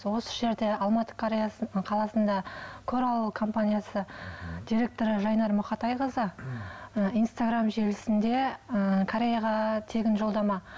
осы жерде алматы қаласында корал компаниясы директоры жайнар мұқатайқызы ы инстаграм желісінде ы кореяға тегін жолдама